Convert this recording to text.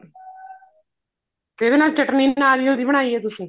ਇਹਦੇ ਨਾਲ ਚਟਨੀ ਵੀ ਨਾਰੀਅਲ ਦੀ ਬਣਾਈ ਆ ਤੁਸੀਂ